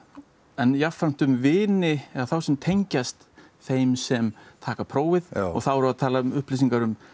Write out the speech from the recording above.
en jafnframt um vini þá sem tengjast þeim sem taka prófið og þá erum við að tala um upplýsingar um